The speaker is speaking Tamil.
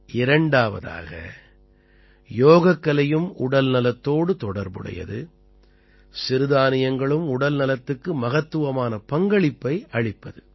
இரண்டாவதாக யோகக்கலையும் உடல்நலத்தோடு தொடர்புடையது சிறுதானியங்களும் உடல்நலத்துக்கு மகத்துவமான பங்களிப்பை அளிப்பது